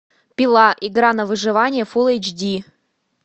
пила игра на выживание фулл эйч ди